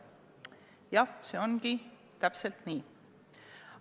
Jah, see ongi täpselt nii.